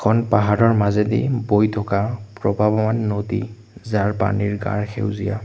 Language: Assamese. এখন পাহাৰৰ মাজেদি বৈ থকা প্ৰপাবন নদী যাৰ পানীৰ গাঢ় সেউজীয়া।